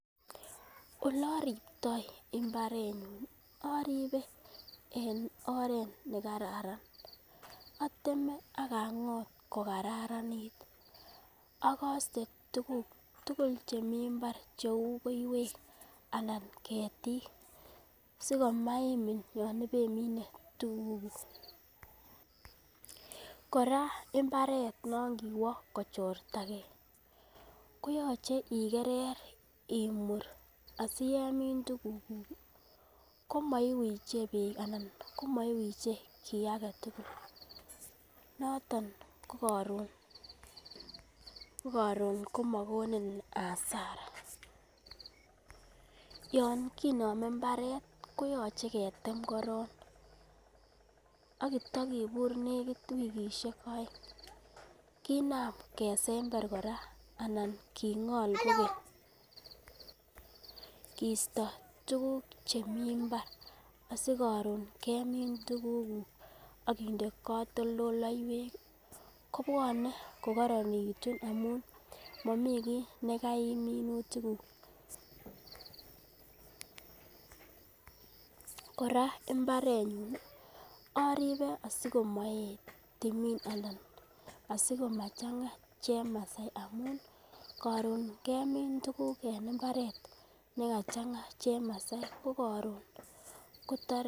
Ole oripyoi imabrenyun oripe en oret nekararan oteme ak angot ko kararanit ak oste tukuk tukuk chemeii imbar chu koiwek anan ketik sikomaimin yon ibemine tukuk. Koraa imbaret non kowoo kochortagee koyoche igerer imur siyemin tukuk kuk koiwiche beek anan komoiwiche kii agetutuk noton ko korun ko korun komokonin asara. Yon kinome imbaret koyoche ketem korong ak kitakibur nekit wikishek oeng kinam kesembee koraa angol kogeny kisto tukuk chemeii imbar sikorun kemin tukuk kuk ak inde kotoldoloiwek kobwone kokoronekitu amun momii kii nekaim minutik kuk. Koraa imabrenyun oribe asimoet timin anan asikomachanga chemasai amun korun kemin tukuk en imbaret nekachanga chemasai ko korun Kotor.